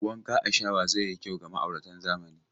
Wanka a shawa zai yi kyau ga ma'auratan zamani.